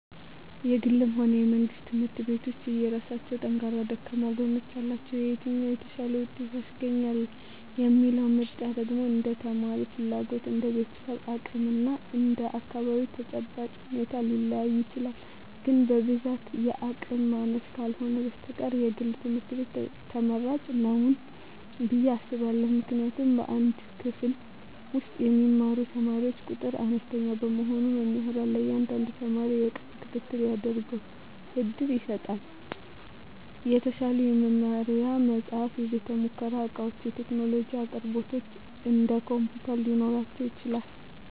የግልም ሆነ የመንግሥት ትምህርት ቤቶች የየራሳቸው ጠንካራና ደካማ ጎኖች አሏቸው። የትኛው "የተሻለ ውጤት" ያስገኛል የሚለው ምርጫ ደግሞ እንደ ተማሪው ፍላጎት፣ እንደ ቤተሰቡ አቅም እና እንደ አካባቢው ተጨባጭ ሁኔታ ሊለያይ ይችላል። ግን በብዛት የአቅም ማነስ ካልህነ በስተቀር የግል ትምህርት ቤት ትመራጭ ንው ብየ አስባእሁ። ምክንያቱም በአንድ ክፍል ውስጥ የሚማሩ ተማሪዎች ቁጥር አነስተኛ በመሆኑ መምህራን ለእያንዳንዱ ተማሪ የቅርብ ክትትል እንዲያደርጉ ዕድል ይሰጣል። የተሻሉ የመማሪያ መጻሕፍት፣ የቤተ-ሙከራ ዕቃዎችና የቴክኖሎጂ አቅርቦቶች (እንደ ኮምፒውተር) ሊኖራቸው ይችላል።